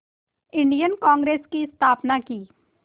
Indian Congress की स्थापना की